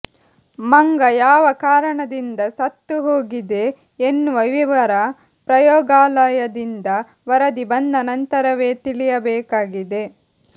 ಮಂಗ ಯಾವ ಕಾರಣದಿಂದ ಸತ್ತು ಹೋಗಿದೆ ಎನ್ನುವ ವಿವರ ಪ್ರಯೋಗಾಲಯದಿಂದ ವರದಿ ಬಂದ ನಂತರವೇ ತಿಳಿಯಬೇಕಾಗಿದೆ